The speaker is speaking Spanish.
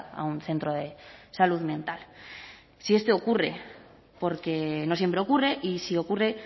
a un centro de salud mental si es que ocurre porque no siempre ocurre y si ocurre